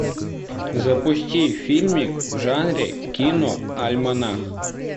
запусти фильмик в жанре киноальманах